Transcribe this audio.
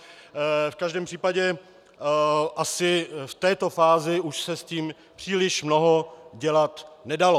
V každém případě asi v této fázi už se s tím příliš mnoho dělat nedalo.